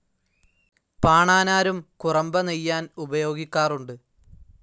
പാണാനാരും കുറമ്പ നെയ്യാൻ ഉപയോഗിക്കാറുണ്ട്.